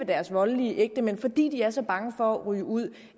deres voldelige ægtemænd fordi de er så bange for at ryge ud